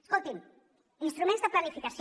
escolti’m instruments de planificació